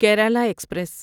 Kerala express